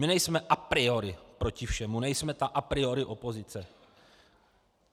My nejsme a priori proti všemu, nejsme ta a priori opozice.